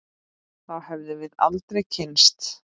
Þá hefðum við aldrei kynnst